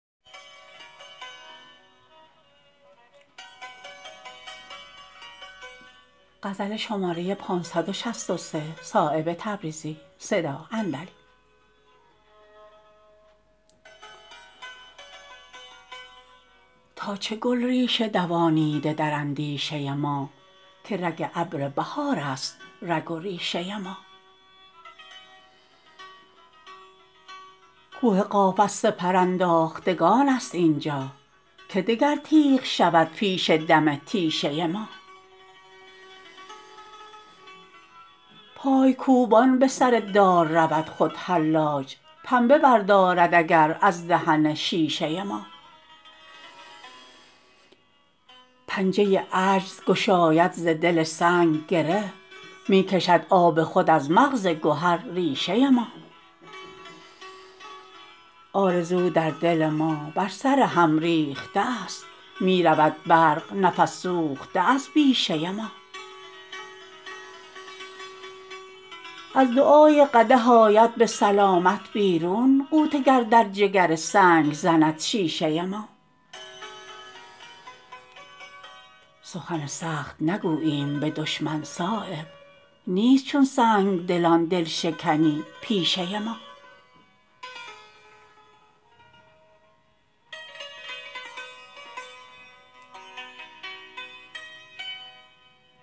تا چه گل ریشه دوانیده در اندیشه ما که رگ ابر بهارست رگ و ریشه ما کوه قاف از سپرانداختگان است اینجا که دگر تیغ شود پیش دم تیشه ما پایکوبان به سردار رود خود حلاج پنبه بردارد اگر از دهن شیشه ما پنجه عجز گشاید ز دل سنگ گره می کشد آب خود از مغز گهر ریشه ما آرزو در دل ما بر سر هم ریخته است می رود برق نفس سوخته از بیشه ما از دعای قدح آید به سلامت بیرون غوطه گر در جگر سنگ زند شیشه ما سخن سخت نگوییم به دشمن صایب نیست چون سنگدلان دلشکنی پیشه ما